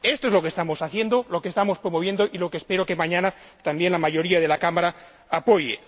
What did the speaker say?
Esto es lo que estamos haciendo, lo que estamos promoviendo y lo que espero que mañana también la mayoría de la Cámara apoye.